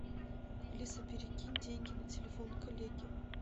алиса перекинь деньги на телефон коллеги